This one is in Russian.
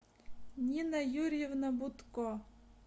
нина юрьевна бутко